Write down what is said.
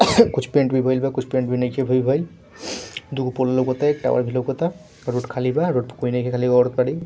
कुछ पेंट भी भयल बा कुछ पेंट भी नइखे भेल बइल | दुगो पोल लउकता एक टावर भी लउकता | रोड खाली बा रोड पर कोई नइखे खली एगो औरत खड़ी --